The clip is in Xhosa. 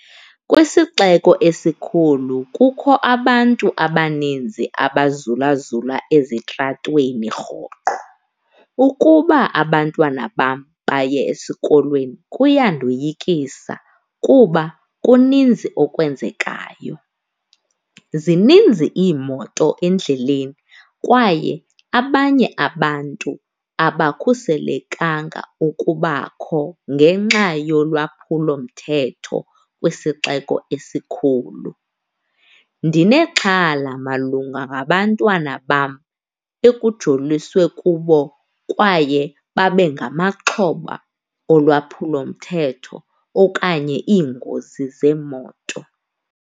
Kwisixeko esikhulu kukho abantu abaninzi abazulazula ezitratweni rhoqo, ukuba abantwana bam baye esikolweni kuyandoyikisa kuba kuninzi okwenzekayo. Zininzi iimoto endleleni kwaye abanye abantu abakhuselekanga ukubakho ngenxa yolwaphulomthetho kwisixeko esikhulu. Ndinexhala malunga nabantwana bam ekujoliswe kubo kwaye babe ngamaxhoba olwaphulo lomthetho okanye iingozi zeemoto.